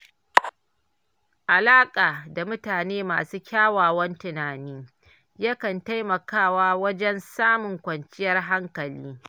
Alaƙa da mutane masu kyakkyawan tunani, yakan taimakawa wajen samun kwanciyar hankali.